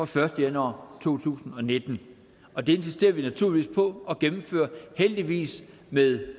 første januar to tusind og nitten og det insisterer vi naturligvis på at gennemføre heldigvis med